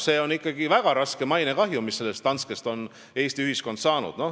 See on ikkagi väga suur mainekahju, mille Eesti ühiskond on Danske juhtumi tagajärjel saanud.